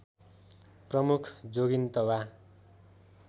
प्रमुख जोगिन्तबा